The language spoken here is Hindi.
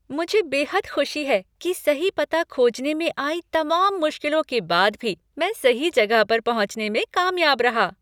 मुझे बेहद खुशी है कि सही पता खोजने में आई तमाम मुश्किलों के बाद भी, मैं सही जगह पर पहुंचने में कामयाब रहा।